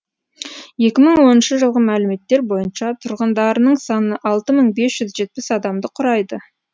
екі мың оныншы жылғы мәліметтер бойынша тұрғындарының саны алты мың бес жүз жетпіс адамды құрайды